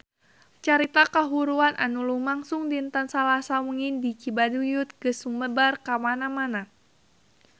Carita kahuruan anu lumangsung dinten Salasa wengi di Cibaduyut geus sumebar kamana-mana